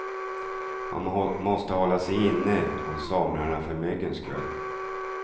Man måste hålla sig inne om somrarna för myggens skull.